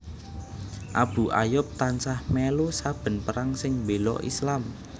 Abu Ayyub tansah mèlu saben perang sing béla Islam